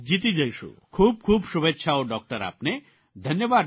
ખૂબ ખૂબ શુભેચ્છાઓ ડૉકટર આપને ધન્યવાદ ડૉકટર